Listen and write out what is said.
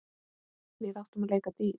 Við áttum að leika dýr.